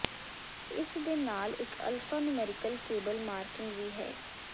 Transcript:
ਇਸ ਦੇ ਨਾਲ ਇਕ ਅਲਫਾਨੁਮੈਰਿਕਲ ਕੇਬਲ ਮਾਰਕਿੰਗ ਵੀ ਹੈ